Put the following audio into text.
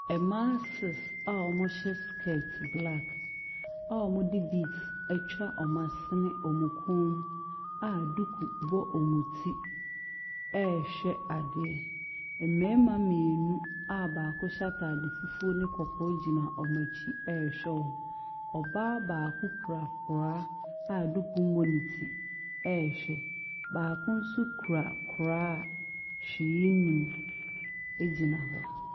Mmaa six a wɔahyɛ skirt black a wɔde beads atwa wɔn asene ne wɔn kɔn mu a duku bɔ wɔn ti rehwɛ adeɛ. Mmarima mmienu a baako hyɛ ataade fufuo ne kɔkɔɔ gyina wɔn akyi rehwɛ wɔn. Ↄbaa baako kura koraa a duku mmɔ ne ti rehwɛ no. baako nso kura koraa a hwee nni mu gyina hɔ.